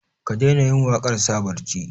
ka daina yin waƙar sa barci